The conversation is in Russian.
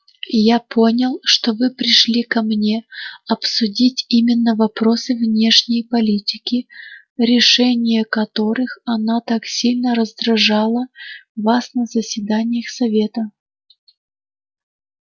я понял что вы пришли ко мне обсудить именно вопросы внешней политики решение которых она так сильно раздражала вас на заседаниях совета